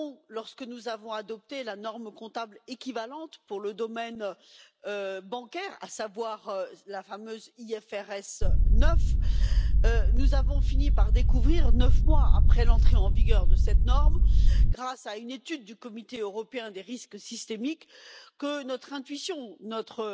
Lorsque nous avons adopté la norme comptable équivalente pour le domaine bancaire, à savoir la fameuse IFRS 9, nous avons fini par découvrir neuf mois après l'entrée en vigueur de cette norme, grâce à une étude du Comité européen des risques systémiques que notre intuition, notre